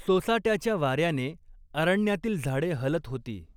सोसाट्याच्या वार्याने अरण्यातील झाडे हलत होती.